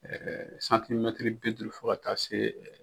Ɛɛ bi duuru fɔ ka taa se .